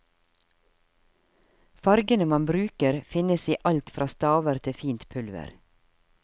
Fargene man bruker finnes i alt fra staver til fint pulver.